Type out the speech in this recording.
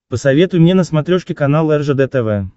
посоветуй мне на смотрешке канал ржд тв